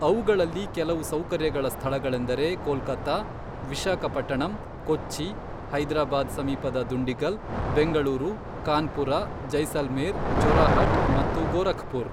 ಅವುಗಳಲ್ಲಿ ಕೆಲವು ಸೌಕರ್ಯಗಳ ಸ್ಥಳಗಳೆಂದರೆ ಕೋಲ್ಕತಾ, ವಿಶಾಖಪಟ್ಟಣಂ, ಕೊಚ್ಚಿ, ಹೈದ್ರಾಬಾದ್ ಸಮೀಪದ ದುಂಡಿಗಲ್, ಬೆಂಗಳೂರು, ಕಾನ್ಪುರ, ಜೈಸಲ್ಮೇರ್, ಜೊರಾಹಟ್ ಮತ್ತು ಗೋರಖ್ ಪುರ್.